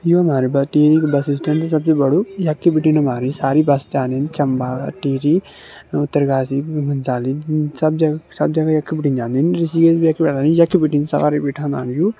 यू हमारी ब टिहरी कू बस स्टैंड सबसे बड़ू यख बिटिन हमारी सारी बस जन्दिन चम्बा टिहरी उत्तरकाशी घनसाली सब जगह सब जगह यख बिटि जन्दिन ऋषिकेश भी यख बिटि यख बिटिन सवारी बिठांदन यू।